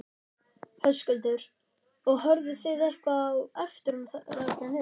Höskuldur: Og horfðuð þið eitthvað á eftir honum þarna niður?